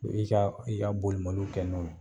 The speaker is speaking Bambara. I b'i ka i ka bolimaninw kɛ n'o ye.